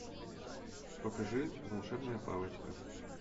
покажи волшебная палочка